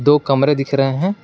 दो कमरे दिख रहे हैं।